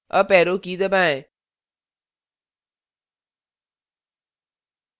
अपarrow की दबाएं